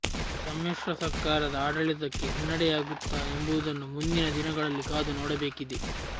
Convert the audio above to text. ಸಮ್ಮಿಶ್ರ ಸರ್ಕಾರದ ಆಡಳಿತಕ್ಕೆ ಹಿನ್ನಡೆಯಾಗುತ್ತಾ ಎಂಬುದನ್ನು ಮುಂದಿನ ದಿನಗಳಲ್ಲಿ ಕಾದು ನೋಡಬೇಕಿದೆ